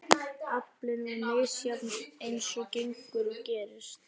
Aflinn var misjafn eins og gengur og gerist.